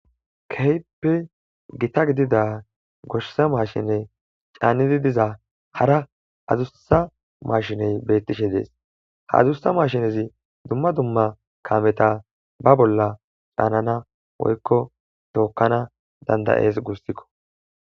Kehippe githa gidida goshsha mashinne canizi bizza hara addussa mashine bethishe dees. Ha mashinezi dumma dumma kameza ba bolla canana woykko tokanas dandae'ss gussiko.